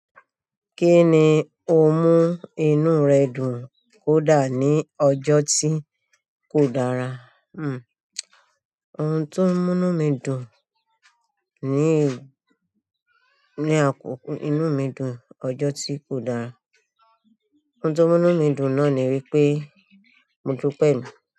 Kíni ó mú inú rẹ de kò da ni ọjọ́ tí ó dára. Hm, ohun tó mú'nú mi dùn ní, ní àkókò inú mi dùn ọjọ́ tí kò dára. Oun tó mu'nu mi dùn náà ni pé, mo dúpẹ́ èmi.